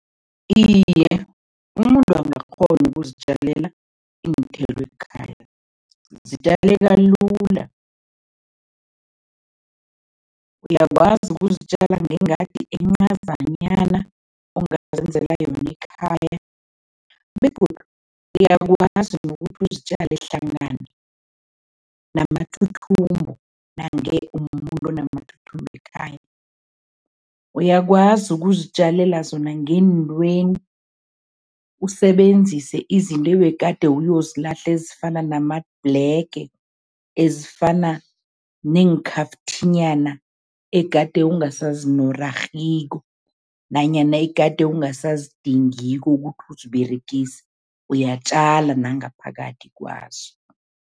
Iye, umuntu angakghona ukuzitjalela iinthelo ekhaya, zitjaleka lula. Uyakwazi ukuzitjala ngengadi encazanyana ongazenzela yona ekhaya begodu uyakwazi nokuthi uzitjale hlangana namathuthumbo nange umumuntu onamathuthumbo ekhaya. Uyakwazi ukuzitjalela zona ngeentweni, usebenzise izinto ebegade uyozilahla ezifana namabhulege, ezifana neenkhafthinyana egade ungasazinorarhiko nanyana egade ungasazidingiko ukuthi uziberegise, uyatjala nangaphakathi kwazo.